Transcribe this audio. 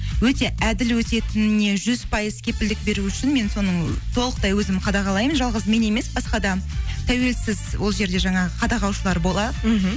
өте әділ өтетініне жүз пайыз кепілдік беру үшін мен соның толықтай өзім қадағалаймын жалғыз мен емес басқа да тәуелсіз ол жерде жаңағы қадағалаушылар бола мхм